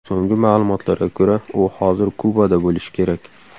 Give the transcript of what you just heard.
So‘nggi ma’lumotlarga ko‘ra, u hozir Kubada bo‘lishi kerak.